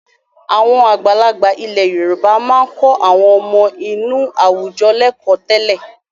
Àwọn àgbààgbà ilẹ̀ Yorùbá máa ń kọ́ àwọn ọmọ inú àwùjọ lẹ́kọ̀ọ́ tẹ́lẹ̀.